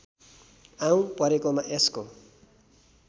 आऊँ परेकोमा यसको